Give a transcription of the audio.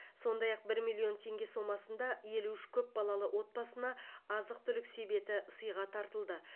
сондай ақ бір миллион теңге сомасында елу үш көп балалы отбасына азық түлік себеті сыйға тартылды